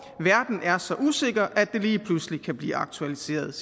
verden er så usikker at det lige pludselig kan blive aktualiseret